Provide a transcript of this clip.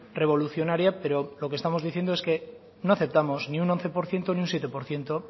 revolucionaria pero lo que estamos diciendo es que no aceptamos ni un once por ciento ni un siete por ciento